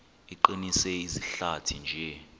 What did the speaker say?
iqinise izihlathi nje